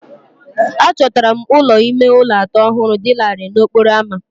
Achọtara m ụlọ ime ụlọ atọ ọhụrụ dị larịị n'okporo ámá